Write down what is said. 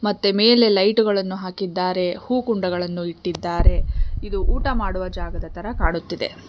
ಮತ್ತೆ ಮೇಲೆ ಲೈಟ್ ಗಳನ್ನು ಹಾಕಿದ್ದಾರೆ ಹೂ ಕುಂಡಗಳನ್ನು ಇಟ್ಟಿದ್ದಾರೆ ಇದು ಊಟ ಮಾಡುವ ಜಾಗದ ತರ ಕಾಣುತ್ತದೆ.